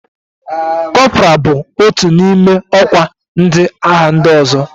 Kọpra bụ otu n'ime ọkwa ndị agha ndị ọzọ.